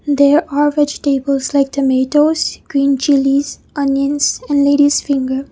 there are vegetables like tomatoes green chillies onions and ladies finger.